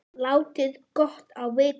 Láti gott á vita.